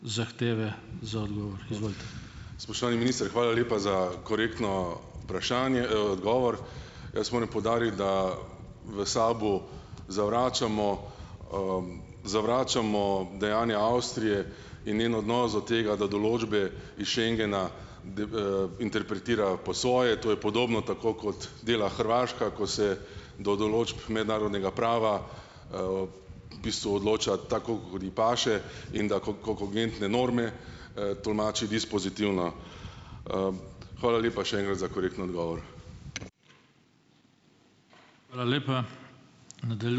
zahteve za odgovor, izvolite. Spoštovani minister, hvala lepa za korektno odgovor. Jaz moram poudariti, da v SAB-u zavračamo, zavračamo dejanja Avstrije in njen odnos do tega, da določbe iz Schengena interpretira po svoje. To je podobno, tako kot dela Hrvaška, ko se do določb mednarodnega prava, v bistvu odloča, tako kot ji paše, in da kogentne norme, tolmači dispozitivno. Hvala lepa še enkrat za korekten odgovor. Hvala lepa.